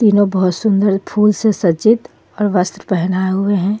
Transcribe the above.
तीनो बोहोत सुन्दर फूल से सजित और वस्त्र पहनाये हुए हे.